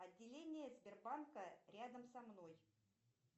отделение сбербанка рядом со мной